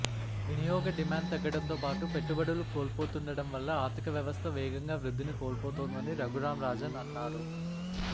వినియోగ డిమాండ్ తగ్గడంతో పాటు పెట్టుబడులు కోల్పోతుండటం వల్ల ఆర్థిక వ్యవస్థ వేగంగా వృద్ధిని కోల్పోతోందని రఘురాం రాజన్ అన్నారు